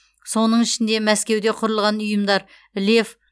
соның ішінде мәскеуде құрылған ұйымдар лев